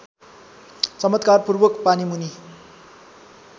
चमत्कारपूर्वक पानीमुनि